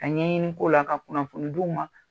Ka ɲɛɲini k'o la , ka kunafoni d'u ma